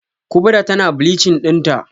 Kubra tana bleaching dinta?